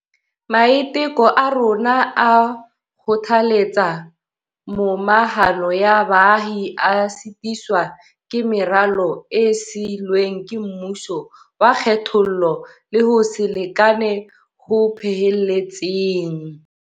Maiteko a rona a ho kgothaletsa momahano ya baahi a sitiswa ke meralo e sii lweng ke mmuso wa kgethollo le ho se lekane ho phehelletseng.